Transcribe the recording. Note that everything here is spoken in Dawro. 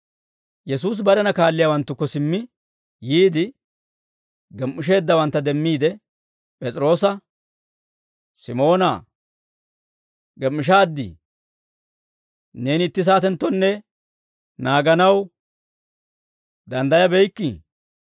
Yesuusi barena kaalliyaawanttukko simmi yiide, gem"isheeddawantta demmiide P'es'iroosa, «Simoonaa, gem"ishshaaddii? Neeni itti saatenttonne naaganaw danddayabeykkii?